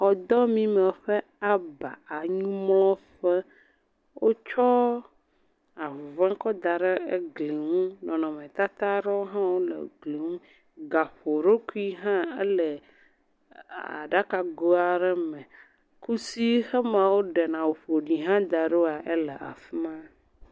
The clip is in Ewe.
Xɔdɔmime ƒe aba anyimlɔƒe, wotsɔ ahuhɔē kɔ da ɖe egli ŋu. Nɔnɔmetata ɖewo hã wole gli ŋu, gaƒoɖokui hã ele aɖakago aɖe me. Kusi xema wo ɖe na awuƒoɖi hã da ɖoa, ele afima.